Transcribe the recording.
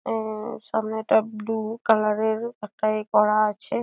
আ-আ-আ সামনেটা blue colour -এর একটা এ করা আছে।